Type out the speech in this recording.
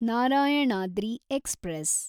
Narayanadri express